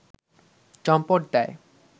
চম্পট দেয়